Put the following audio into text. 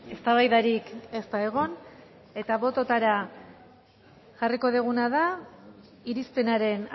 eztabaidarik ez da egon eta bototara jarriko duguna da irizpenaren